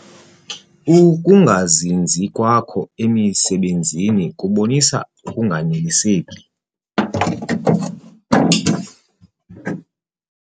Uukungazinzi kwakho emisebenzini kubonisa ukunganeliseki.